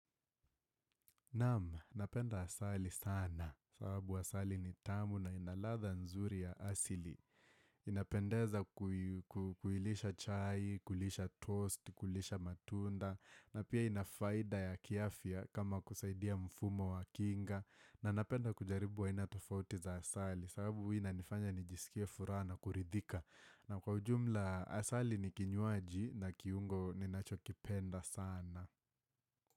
Nam, napenda asali sana, sababu asali ni tamu na inaladha nzuri ya asili. Inapendeza kuilisha chai, kulisha toast, kulisha matunda, na pia inafaida ya kiafya kama kusaidia mfumo wa kinga, na napenda kujaribu wa inatofauti za asali, sababu wina inifanya nijisikia furaha kuridhika. Na kwa ujumla, asali ni kinywaji na kiungo ni nacho kipenda sana.